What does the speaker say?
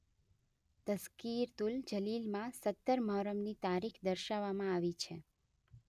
તઝકિરતુલ જલીલમાં સત્તર મુહર્રમની તારીખ દર્શાવવામાં આવી છે.